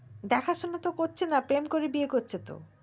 দেখা সোনা তো করছেনা প্রেম করে বিয়ে করছে তো